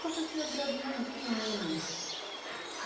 Talvez tenha durado mais de um ano.